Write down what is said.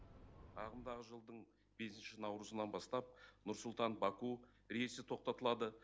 ағымдағы жылдың бесінші наурызынан бастап нұр сұлтан баку рейсі тоқтатылады